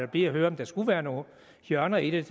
bliver høre om der skulle være nogle hjørner i det